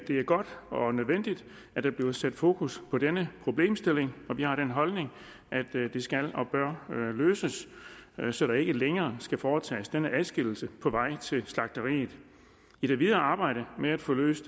det er godt og nødvendigt at der bliver sat fokus på denne problemstilling og vi har den holdning at det skal og bør løses så der ikke længere skal foretages denne adskillelse på vej til slagteriet i det videre arbejde med at få løst